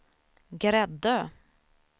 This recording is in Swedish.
Gräddö